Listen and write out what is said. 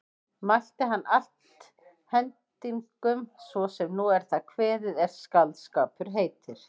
Mælti hann allt hendingum svo sem nú er það kveðið er skáldskapur heitir.